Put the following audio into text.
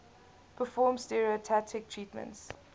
perform stereotactic treatments